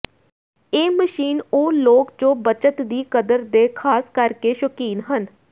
ਇਹ ਮਸ਼ੀਨ ਉਹ ਲੋਕ ਜੋ ਬੱਚਤ ਦੀ ਕਦਰ ਦੇ ਖਾਸ ਕਰਕੇ ਸ਼ੌਕੀਨ ਹਨ